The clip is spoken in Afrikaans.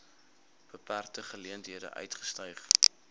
beperkte geleenthede uitgestyg